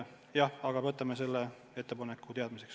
Jah, aga me võtame selle ettepaneku teadmiseks.